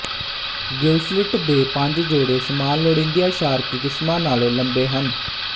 Gill slit ਦੇ ਪੰਜ ਜੋੜੇ ਸਮਾਨ ਲੋੜੀਂਦੀਆਂ ਸ਼ਾਰਕ ਕਿਸਮਾਂ ਨਾਲੋਂ ਲੰਬੇ ਹਨ